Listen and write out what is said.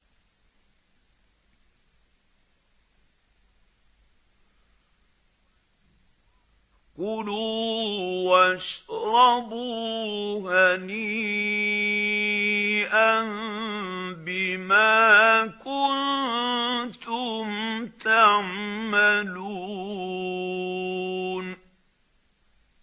كُلُوا وَاشْرَبُوا هَنِيئًا بِمَا كُنتُمْ تَعْمَلُونَ